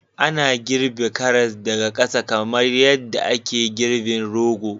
Ana girbe karas daga ƙasa kamar yadda ake girbin rogo